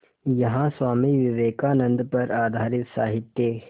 यहाँ स्वामी विवेकानंद पर आधारित साहित्य